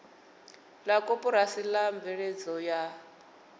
la koporasi la mveledzo ya